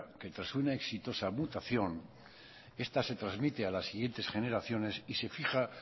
que tras una exitosa mutación esta se transmite a las siguientes generaciones y se fija